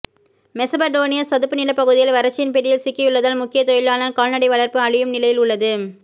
மெசபடோனிய சதுப்பு நிலப்பகுதிகள் வறட்சியின் பிடியில் சிக்கியுள்ளதால் முக்கிய தொழிலான கால்நடை வளர்ப்பு அழியும் நிலையில் உள்ளது